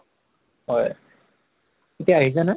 হয় এতিয়া আহিছে নে?